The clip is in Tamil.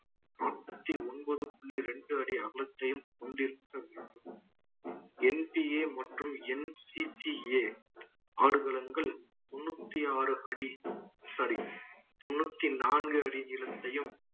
தொண்ணூத்தி ஒன்பது புள்ளி ரெண்டு அடி அகலத்தையும் கொண்டிருக்க வேண்டும் NTA மற்றும் NCCA ஆடுகளங்கள் தொண்ணூத்தி ஆறு அடி sorry தொண்ணூத்தி நான்கு அடி நீளத்தையும்